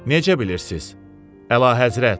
Necə bilirsiz, Əlahəzrət?